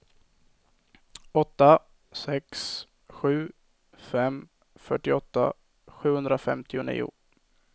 åtta sex sju fem fyrtioåtta sjuhundrafemtionio